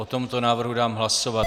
O tomto návrhu dám hlasovat.